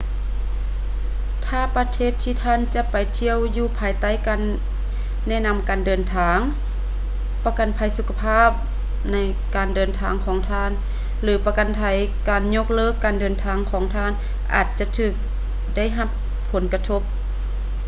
ຖ້າປະເທດທີ່ທ່ານຈະໄປທ່ຽວຢູ່ພາຍໃຕ້ການແນະນຳການເດີນທາງ ປະກັນໄພສຸຂະພາບການເດີນທາງຂອງທ່ານ ຫຼື ປະກັນໄພການຍົກເລີກການເດີນທາງຂອງທ່ານອາດຈະຖືກໄດ້ຮັບຜົນກະທົບ